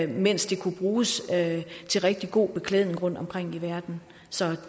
mens de kunne bruges til rigtig god beklædning rundtomkring i verden så